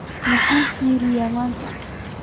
Maxaan fiiriyaa maanta?